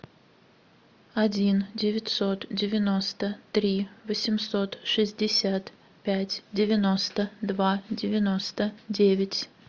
один девятьсот девяносто три восемьсот шестьдесят пять девяносто два девяносто девять